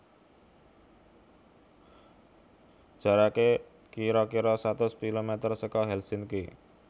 Jarake kiro kiro satus kilometer soko Helsinki